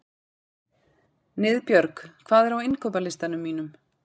Niðbjörg, hvað er á innkaupalistanum mínum?